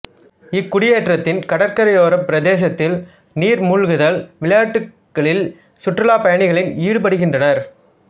இக்குடியேற்றத்தின் கடற்கரையோரப் பிரதேசத்தில் நீர் மூழ்குதல் விளையாட்டுக்களில் சுற்றுலாப் பயணிகள் ஈடுபடுகின்றனர்